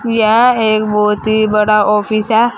यह एक बहुत ही बड़ा ऑफिस है।